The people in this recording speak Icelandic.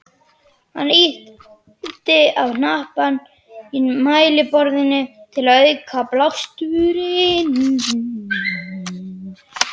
Hann ýtti á hnappa í mælaborðinu til að auka blásturinn.